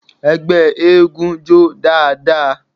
Ẹgbẹ́ eégún jó dáadáa.